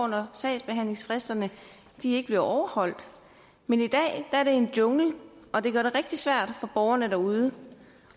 når sagsbehandlingsfristerne ikke bliver overholdt men i dag er det en jungle og det gør det rigtig svært for borgerne derude